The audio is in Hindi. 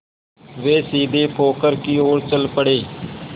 वे सीधे पोखर की ओर चल पड़े